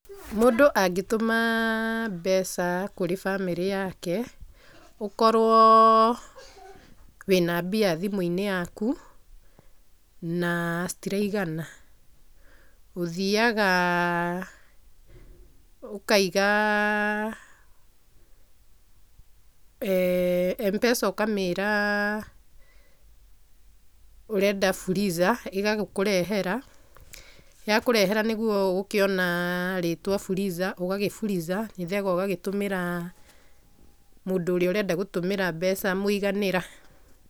Mũndũ angĩtũma mbeca kũrĩ bamĩrĩ yake, ũkorwo wĩna mbia thimũ-inĩ yaku na citiraigana, ũthiaga ũkaiga, M-pesa ũkamĩra ũrenda fuliza, ĩgagĩkũrehera, yakũrehera nĩguo ũgũkĩona rĩtwa fuliza, ũgagĩfuliza. Ũgagĩcoka ũgagĩtũmĩra mũndũ ũrĩa ũrenda gũtũmĩra mbeca mũiganĩra.